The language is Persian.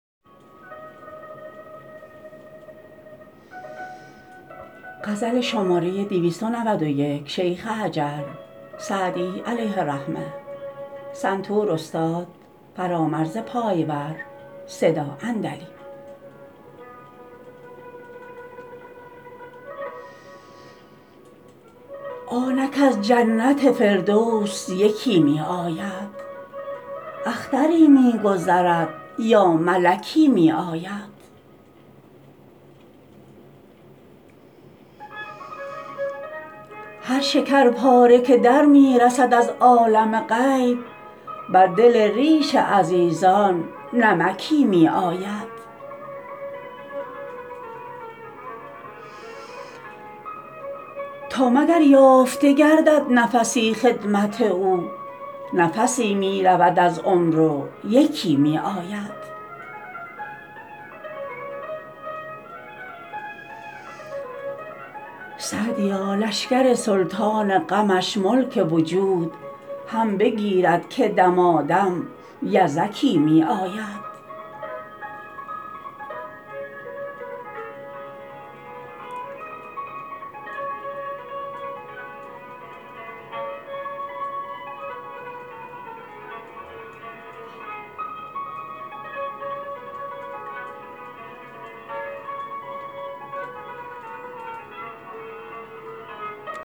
آنک از جنت فردوس یکی می آید اختری می گذرد یا ملکی می آید هر شکرپاره که در می رسد از عالم غیب بر دل ریش عزیزان نمکی می آید تا مگر یافته گردد نفسی خدمت او نفسی می رود از عمر و یکی می آید سعدیا لشکر سلطان غمش ملک وجود هم بگیرد که دمادم یزکی می آید